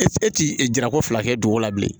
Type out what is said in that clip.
E ti e ti e jira ko fila kɛ duguko la bilen